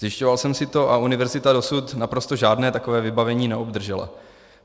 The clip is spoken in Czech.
Zjišťoval jsem si to a univerzita dosud naprosto žádné takové vybavení neobdržela.